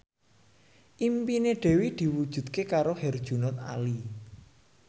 impine Dewi diwujudke karo Herjunot Ali